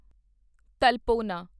ਤਾਲਪੋਨਾ